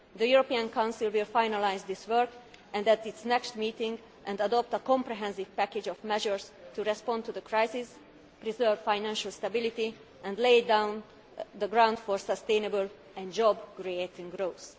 The European Council will finalise this work at its next meeting and adopt a comprehensive package of measures to respond to the crisis, preserve financial stability and lay the ground for sustainable, job creating growth.